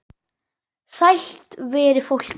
Sælt veri fólkið!